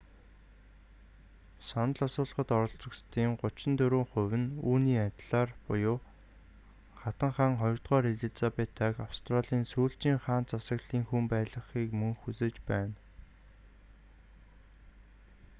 санал асуулгад оролцогсодын 34 хувь нь үүний адилаар буюу хатан хаан ii элизабетаг австралийн сүүлчийн хаант засгийн хүн байлгахыг мөн хүсэж байна